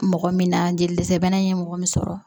Mɔgɔ min na jelizɛbana in ye mɔgɔ min sɔrɔ